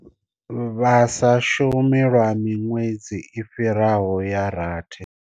Vha sa shumi lwa miṅwedzi i fhiraho ya rathi.